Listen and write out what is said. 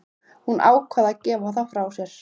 Hún ákvað að gefa það frá sér.